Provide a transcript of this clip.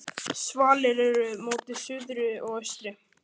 Svalir eru móti suðri og austri.